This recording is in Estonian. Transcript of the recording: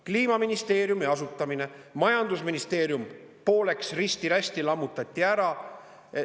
Kliimaministeeriumi asutamine, majandusministeerium pooleks, risti-rästi lammutati ära.